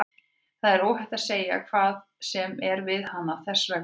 Þér er óhætt að segja hvað sem er við hana, þess vegna.